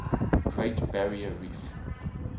great barrier reef